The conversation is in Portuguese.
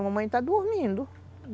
Minha mãe está dormindo.